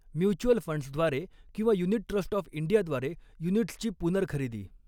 Mutual फंड्सद्वारे किंवा unit trust of इंडियाद्वारे युनिट्सची पुनर्खरेदी.